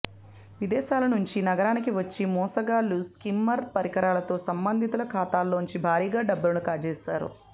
విదేశాల నుంచి నగరానికి వచ్చి మోసగాళ్లు స్కిమ్మర్ పరికరాలతో సంబంధితుల ఖాతాల్లోంచి భారీగా డబ్బులను కాజేశారు